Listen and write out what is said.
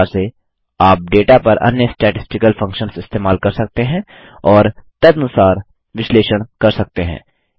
इसी प्रकार से आप डेटा पर अन्य स्टैटिस्टिकल फंक्शन्स इस्तेमाल कर सकते हैं और तदनुसार विश्लेषण कर सकते हैं